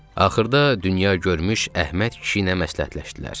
Axırda dünyagörmüş Əhməd kişi ilə məsləhətləşdilər.